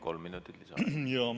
Kolm minutit lisaaega.